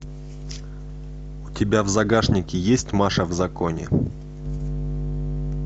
у тебя в загашнике есть маша в законе